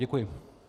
Děkuji.